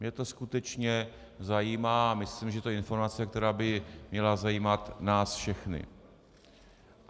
Mě to skutečně zajímá a myslím, že to je informace, která by měla zajímat nás všechny.